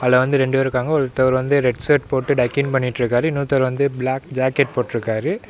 உள்ள வந்து ரெண்டு பேர் இருக்காங்க ஒருத்தர் வந்து ரெட் சர்ட் போட்டு டக்கின் பண்ணிட்ருக்காரு இன்னொருத்தர் வந்து பிளாக் ஜாக்கெட் போட்ருக்காரு.